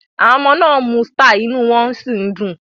Awọn ọmọde n uu Star, iny won si ndun